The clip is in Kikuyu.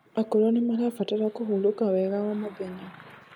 akũrũ nimarabatara kũhũrũka wega o mũthenya